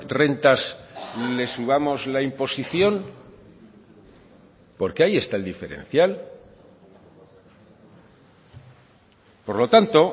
rentas les subamos la imposición porque ahí está el diferencial por lo tanto